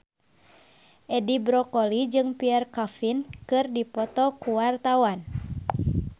Edi Brokoli jeung Pierre Coffin keur dipoto ku wartawan